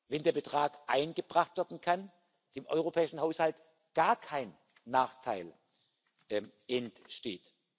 wenn der Betrag eingebracht werden kann, dem europäischen Haushalt gar kein Nachteil entsteht.